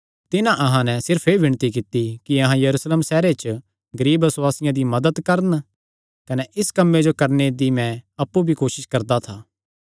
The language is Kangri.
तिन्हां अहां नैं सिर्फ एह़ विणती कित्ती कि अहां यरूशलेम सैहरे च गरीब बसुआसियां दी मदत करन कने इस कम्मे जो करणे दी मैं अप्पु भी कोसस करदा था